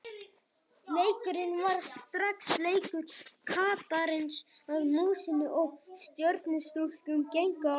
Leikurinn varð strax leikur kattarins að músinni og Stjörnustúlkur gengu á lagið.